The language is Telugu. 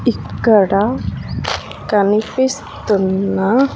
ఇక్కడ కనిపిస్తున్న--